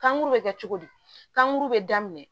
Kankuru bɛ kɛ cogo di kan guru bɛ daminɛ